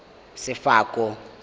sefako